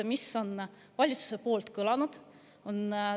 Mis on valitsuse poolt kõlanud?